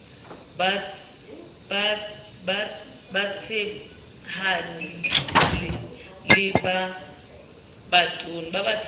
ba batshehadi le ba batona